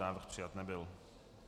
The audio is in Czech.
Návrh přijat nebyl.